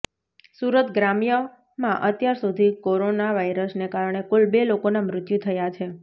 સુરત ગ્રામ્યમાં અત્યાર સુધી કોરોના વાયરસને કારણે કુલ બે લોકોના મૃત્યુ થયા છે